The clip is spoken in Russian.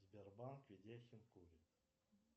сбербанк ведяхин курит